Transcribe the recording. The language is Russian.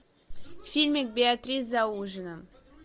фильмик беатрис за ужином